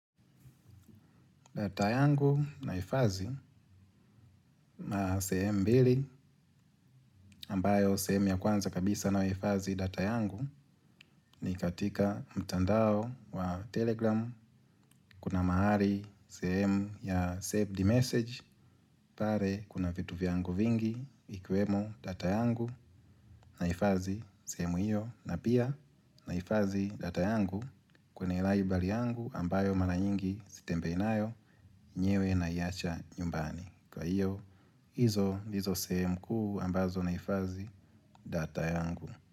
Data yangu naifadhi maa sehemu mbili ambayo sehemu ya kwanza kabisa nahifadhi data yangu ni katika mtandao wa telegram kuna mahali sehemu ya saved message pare kuna vitu vyangu vingi ikiwemo data yangu naifadhi sehemu hiyo na pia naifadhi data yangu kwenye Libra yangu ambayo mara nyingi sitembei nayo yenyewe naiacha nyumbani. Kwa iyo, izo, ndizo sehemu kuu ambazo naifadhi data yangu.